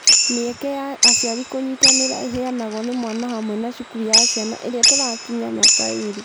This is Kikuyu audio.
Mĩeke ya aciari kũnyitanĩra ĩheanagwo nĩ mwana hamwe na cukuru ya ciana iria itakinyia mĩaka ĩĩrĩ.